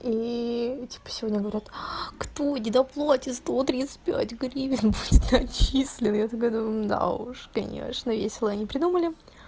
и типа сегодня говорят кто не доплатит сто тридцать гривен будет отчислен я такая думаю да уж конечно весело они придумали